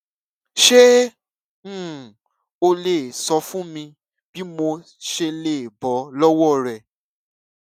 ṣé um o lè sọ fún mi bí mo ṣe lè bó lówó rẹ